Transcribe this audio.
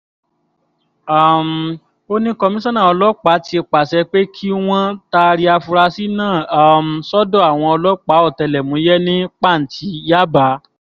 um ó ní kọmíṣánná ọlọ́pàá ti pàṣẹ pé kí wọ́n taari àfurasí náà um sọ́dọ̀ àwọn ọlọ́pàá ọ̀tẹlẹ̀múyẹ́ ní pàǹtí yaba